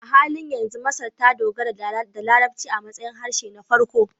A halin yanzu, Masar ta dogara da Larabci a matsayin harshe na farko